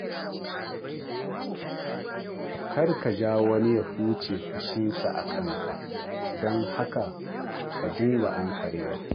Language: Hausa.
Kar ka ja wani ya huce haushinsa a kanka, don haka ka dinga ankarewa.